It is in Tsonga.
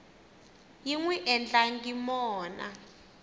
yi n wi endlangi mona